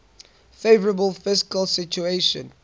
favourable fiscal situation